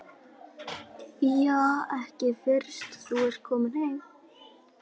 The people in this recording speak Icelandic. Ja, ekki fyrst þú ert kominn heim.